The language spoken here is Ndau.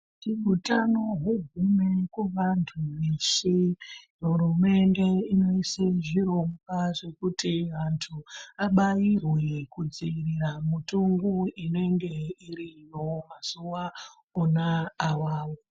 Kuti utano hugume kuvantu veshe, hurumende inoise zvirongwa, zvekuti antu abairwe, kudziirira mutungu, unenge uriyo, mazuwa akona awawo.